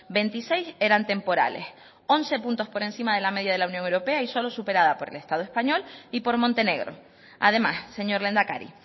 veintiséis eran temporales once puntos por encima de la media de la unión europea y solo superada por el estado español y por montenegro además señor lehendakari